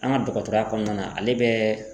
An ka dɔgɔtɔrɔya kɔnɔna na ale bɛ